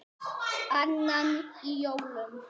Annan í jólum.